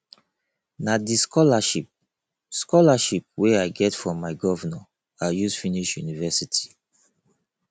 na di scholarship scholarship wey i get from my governor i use finish university